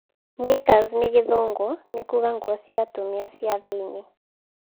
Kninkers ni gĩthũngũ nĩ kuuga nguo cia atumia cia thĩ-ine.